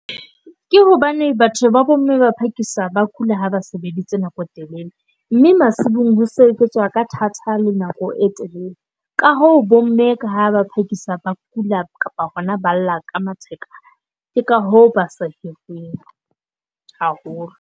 Ke hobane batho ba bomme ba phakisa ba kula ha ba sebeditse nako e telele, mme masimong ho sebetsa ka thata le nako e telele. Ka ho bomme ka ha ba phakisa ba kula kapa ba lla ka matheka ke ka ho ba sa haholo.